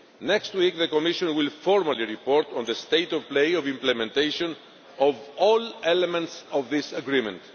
Next week the Commission will formally report on the state of play of implementation of all elements of this agreement.